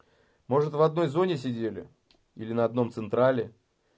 может в одной зоне сидели или на одном централе